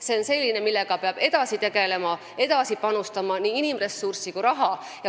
See on asi, millega peab edasi tegelema, kuhu peab edasi panustama nii inimressurssi kui raha.